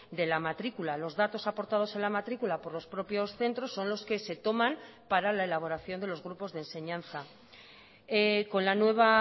de la matrícula los datos aportados en la matrícula por los propios centros son los que se toman para la elaboración de los grupos de enseñanza con la nueva